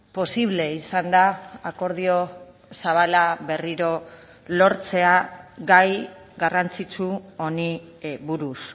posible izan da akordio zabala berriro lortzea gai garrantzitsu honi buruz